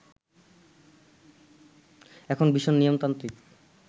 এখন ভীষণ নিয়মতান্ত্রিক